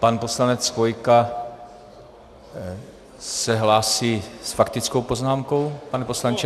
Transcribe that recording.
Pan poslanec Chvojka se hlásí s faktickou poznámkou - pane poslanče?